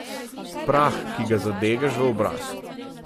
Prah, ki ga zadegaš v obraz.